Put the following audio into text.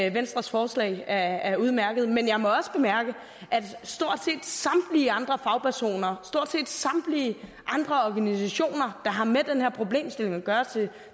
at venstres forslag er udmærket men jeg må også bemærke at stort set samtlige andre fagpersoner stort set samtlige andre organisationer der har med den her problemstilling at gøre